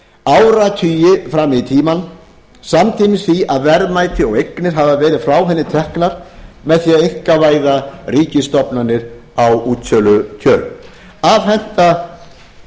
áratugi fram í tímann samtímis því að verðmæti og eignir hafa ferð frá henni teknar með því að einkavæða ríkisstofnanir á útsölukjörum afhenda stórfyrirtækin